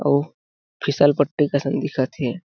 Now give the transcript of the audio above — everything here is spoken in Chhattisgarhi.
अउ फिसलपट्टी कसन दिखत हे।